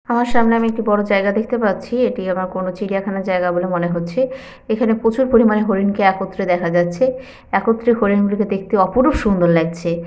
আমার সামনে আমি একটি বড় জায়গা দেখতে পাচ্ছি এটি আমার কোনো চিড়িয়াখানার জায়গা বলে মনে হচ্ছে এখানে প্রচুর পরিমাণে হরিণকে একত্রে দেখা যাচ্ছে একত্রে হরিণগুলিকে দেখতে অপরুপ সুন্দর লাগছে।